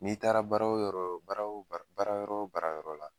N'i taara barara wo yɔrɔ baara wo baara yɔrɔ barayɔrɔ wo baarayɔ ɛla.